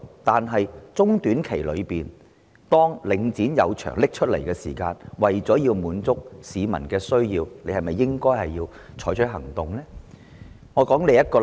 不過，在中、短期方面，當領展出售物業時，為了滿足市民的需要，政府是否應該採取行動？